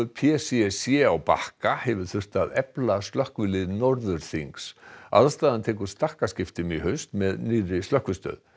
p c c á Bakka hefur þurft að efla slökkvilið Norðurþings aðstaðan tekur stakkaskiptum í haust með nýrri slökkvistöð